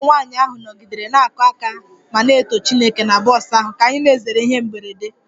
Ụmụ nwanyị ahụ nọgidere na-akụ aka ma na-eto Chineke na bọs ahụ ka anyị na-ezere ihe mberede